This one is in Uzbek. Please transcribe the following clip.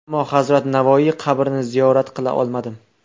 Ammo hazrat Navoiy qabrini ziyorat qila olmadim.